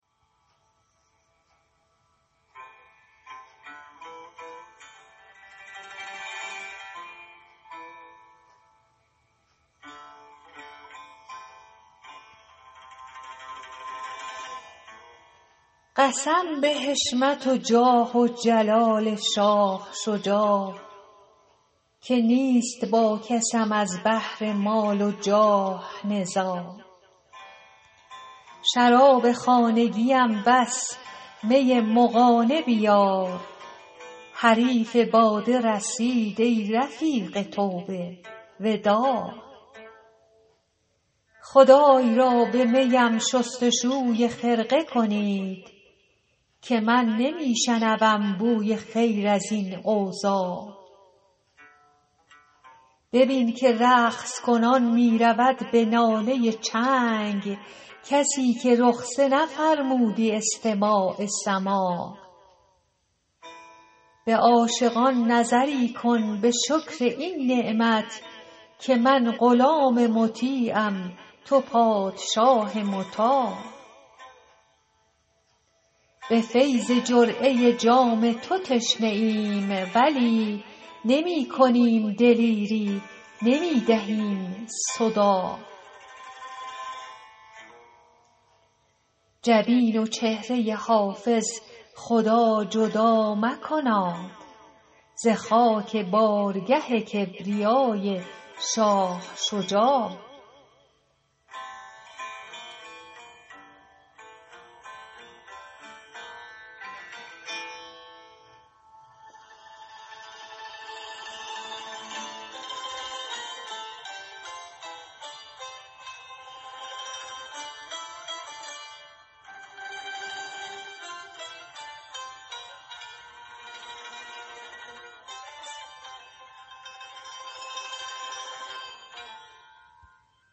قسم به حشمت و جاه و جلال شاه شجاع که نیست با کسم از بهر مال و جاه نزاع شراب خانگیم بس می مغانه بیار حریف باده رسید ای رفیق توبه وداع خدای را به می ام شست و شوی خرقه کنید که من نمی شنوم بوی خیر از این اوضاع ببین که رقص کنان می رود به ناله چنگ کسی که رخصه نفرمودی استماع سماع به عاشقان نظری کن به شکر این نعمت که من غلام مطیعم تو پادشاه مطاع به فیض جرعه جام تو تشنه ایم ولی نمی کنیم دلیری نمی دهیم صداع جبین و چهره حافظ خدا جدا مکناد ز خاک بارگه کبریای شاه شجاع